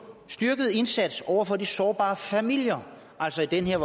styrket indsats over for de sårbare familier altså i den her